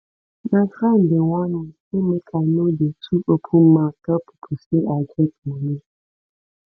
my friend dey warn me sey make i no dey too open mouth tell pipo sey i get money